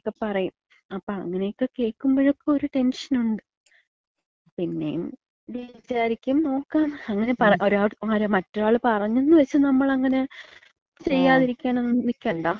എന്നൊക്ക പറയും. അപ്പൊ അങ്ങനെയൊക്കെ കേൾക്കുമ്പഴക്ക ഒര് ടെൻഷനുണ്ട്. പിന്നെയും വിചാരിക്കും നോക്കാന്ന്. അങ്ങനെ ഒരാള് മറ്റൊരാള് പറഞ്ഞന്ന് വച്ച് നമ്മളങ്ങനെ ചെയ്യാതിരിക്കാനൊന്നും നിക്കണ്ട.